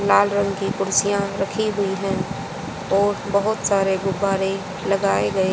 लाल रंग की कुर्सियां रखी हुई है और बहोत सारे गुब्बारे लगाए गए--